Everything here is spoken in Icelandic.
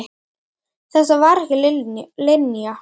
Þetta var ekki Linja.